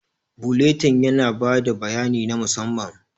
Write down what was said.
Buletin yana ba da bayani na musamman.